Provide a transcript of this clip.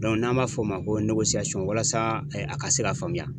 n'an b'a fɔ o ma ko walasa a ka se ka faamuya.